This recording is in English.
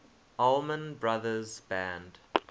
allman brothers band